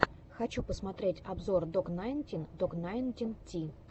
хочу посмотреть обзор док найнтин док найнтин ти